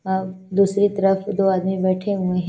हमम दूसरी तरफ दो आदमी बेठे हुए है।